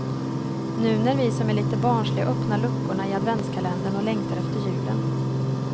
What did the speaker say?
Nu när vi som är lite barnsliga öppnar luckorna i adventskalendern och längtar efter julen.